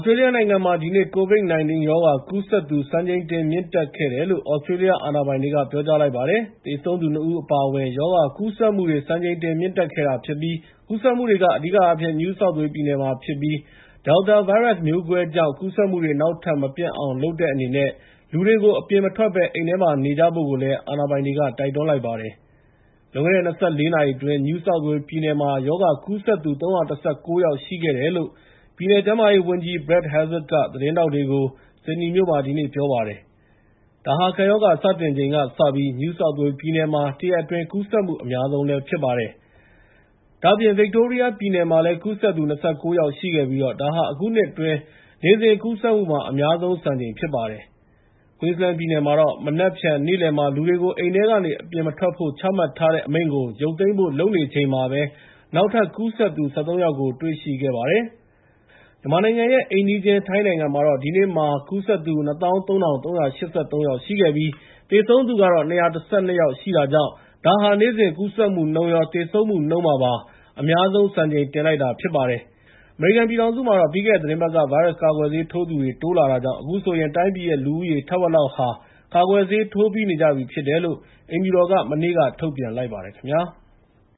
စတြေးလျနိုင်ငံမှာ ဒီနေ့မှာ ကိုဗစ် ၁၉ ရောဂါကူးစက်သူ စံချိန်တင်မြင့်တက်ခဲ့တယ်လို့ သြစတြေးလျ အာဏာပိုင်တွေက ပြောကြားလိုက်ပါတယ်။ သေဆုံးသူ ၂ ဦး အပါအဝင် ရောဂါကူးစက်မှုတွေ စံချိန်တင်မြင့်တက်ခဲ့တာဖြစ်ပြီး၊ ကူးစက်မှုတွေ အဓိကအားဖြင့် New South Wales ပြည်နယ်မှာဖြစ်၊ Delta ဗိုင်းရပ်မျိုးကွဲကြောင့် ကူးစက်မှုတွေ နောက်ထပ် မပျံ့အောင်လုပ်တဲ့အနေနဲ့ လူတွေကို အပြင်မထွက်ဘဲ အိမ်ထဲမှာပဲ နေကြဖို့ တိုက်တွန်းလိုက်ပါတယ်။ လွန်ခဲ့တဲ့ ၂၄ နာရီအတွင်း New South Wales ပြည်နယ်မှာ ရောဂါကူးစက်သူ ၃၁၉ ယောက်ရှိခဲ့တယ်လို့ပြည်နယ် ကျန်းမာရေးဝန်ကြီး Brad Hazzard က သတင်းထောက်တွေကို ဆစ်ဒနီမြို့မှာ ဒီနေ့ ပြောပါတယ်။ ဒါဟာ ကပ်ရောဂါစတင်ချိန်ကစပြီး၊ New South Wales ပြည်နယ်မှာ တရက်အတွင်း ကူးစက်မှုအများဆုံးလည်းဖြစ်ပါတယ်။ ဒါ့အပြင် ဗစ်တိုးရီးယားပြည်နယ်မှာလည်း ကူးစက်သူ ၂၉ ယောက်ရှိခဲ့ပြီး၊ ဒါဟာ အခုနှစ်အတွင်း နေ့စဉ်ကူးစက်မှုမှာ အများဆုံးစံချိန်ြဖ်စပါတယ်။ Queesland ပြည်နယ်မှာတော့ မနက်ဖြန် နေ့လည်မှာ လူတွေကို အိမ်ထဲကနေ အပြင်မထွက်ဖို့ ချမှတ်ထားတဲ့ အမိန့်ကို ရုတ်သိမ်းဖို့လုပ်နေချိန်မှာပဲ၊ နောက်ထပ်ကူးစက်သူ ၁၃ ယောက်ကို တွေ့ရှိခဲံပါတယ်။ မြန်မာနိုင်ငံရဲ့ အိမ်နီးချင်းထိုင်းနိုင်ငံမှာတော့ ဒီနေ့မှာ ကူးစက်သူ ၂၁၃၈၃ ယောက်ရှိခဲ့ပြီး၊ သေဆုံးသူကတော့ ၂၁၂ ယောက်ရှိခဲ့တာကြောင် ဒါဟာ နေ့စဉ်ကူးစက်မှုနှုန်းမှာရော သေဆုံးမှုနှုန်းမှာပါ အများဆုံးစံချိန်တင်လိုက်ပါတယ်။ အမေရိကန်ပြည်ထောင်စုမှာတော့ ပြီးခဲ့တဲ့ သီတင်းပတ်က ဗိုင်းရပ်စ်ကာကွယ်ဆေးထိုးသူတွေ တိုးလာတာကြောင့် ၊ အခုဆိုရင် တိုင်းပြည်ရဲ့ လူဦးရေ ထက်ဝက်လောက်ဟာ ကာကွယ်ဆေးထိုးပြီးကြပြီဖြစ်တယ်လို့အိမ်ဖြူတော်က မနေ့က ထုတ်ပြန်လိုက်ပါတယ်ခင်ဗျာ။